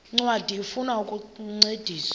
ncwadi ifuna ukukuncedisa